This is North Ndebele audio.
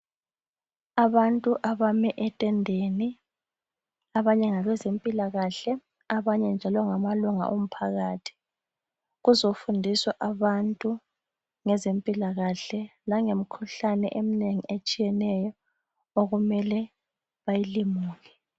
Abantu abame etenndeni abanye ngabezempilakahle abanye njalo ngamalunga omphakathi kuzofundiswa abantu ngezempilakahle langemikhuhlane eminengi etshiyeneyo okumele bayilumuke.